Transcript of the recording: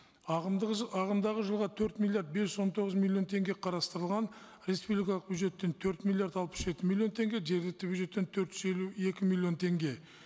ағымдағы жылға төрт миллиард бес жүз он тоғыз миллион теңге қарастырылған республикалық бюджеттен төрт миллиард алпыс жеті миллион теңге жергілікті бюджеттен төрт жүз елу екі миллион теңге